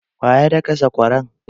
Waya daka sakwaran?